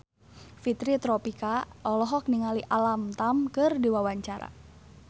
Fitri Tropika olohok ningali Alam Tam keur diwawancara